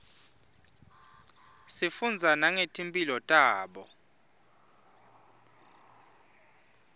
sifundza nangeti mphilo tabo